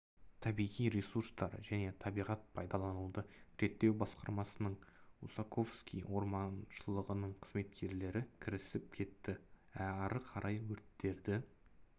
табиғи ресурстар және табиғат пайдалануды реттеу басқармасының усаковский орманшылығының қызметкерлері кірісіп кетті ары қарай өрттерді